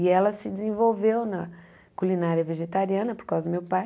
E ela se desenvolveu na culinária vegetariana por causa do meu pai.